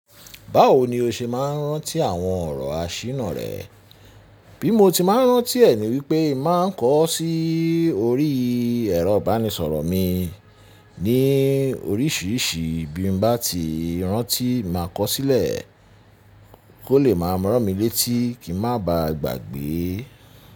Báwo ni o ṣe máa ń rántí àwọn ọ̀rọ̀ asina rẹ? Bí mo ti máa ń rántí ẹ̀ ni wípé màá ń kọ ọ́ sí orí ẹ̀rọ ìbánisọ̀rọ̀ mi ní oríṣìíríṣìí bí n bá ti rántí máa kọ sílẹ̀ kó lè máa ràn mí létí kí ń má ba à gbàgbé.